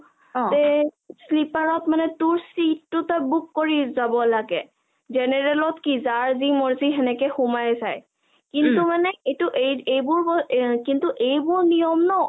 তে sleeper ত মানে তই তোৰ seat টো book কৰি যাব লাগে, general ত কি যাৰ যি মৰজি হেনেকে সোমাই যায়, উম কিন্তু মানে এইবোৰ নিয়ম ন